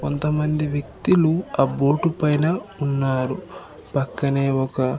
కొంతమంది వ్యక్తిలు ఆబోటు పైన ఉన్నారు పక్కనే ఒక--